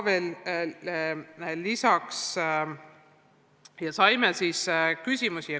Me saime ka uusi küsimusi.